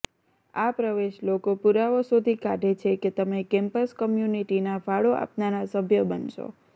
આ પ્રવેશ લોકો પુરાવો શોધી કાઢે છે કે તમે કેમ્પસ કમ્યુનિટીના ફાળો આપનારા સભ્ય બનશો